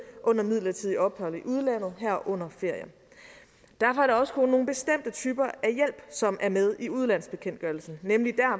under midlertidige ophold i udlandet herunder ferie derfor er det også kun nogle bestemte typer af hjælp som er med i udlandsbekendtgørelsen nemlig